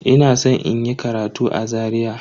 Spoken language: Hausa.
Ina san inyi karatu a Zaria.